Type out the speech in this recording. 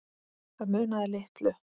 Það munaði litlu.